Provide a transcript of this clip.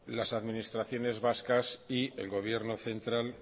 las administraciones vascas y el gobierno central